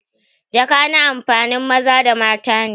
jaka na amfanin maza da mata ne.